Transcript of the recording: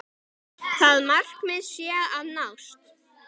Það markmið sé að nást.